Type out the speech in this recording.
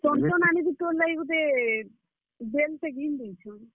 ନାନି ବି ତୋର୍ ଲାଗି ଗୁଟେ, belt ଟେ ଘିନ୍ ଦେଇଛନ୍।